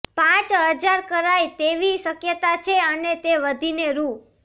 પાંચ હજાર કરાય તેવી શક્યતા છે અને તે વધીને રૂ